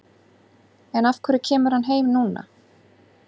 En af hverju kemur hann heim núna?